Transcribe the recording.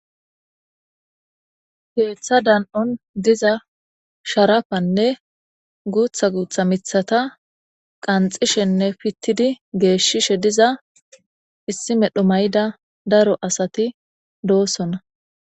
Keeththa dan7on sharapanne guuththa miththata qanxxishenne pittidi geeshshishe issi medho mayida daro asati doosona.